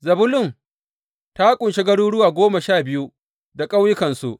Zebulun ta ƙunshi garuruwa goma sha biyu da ƙauyukansu.